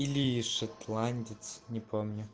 или шотландец не помню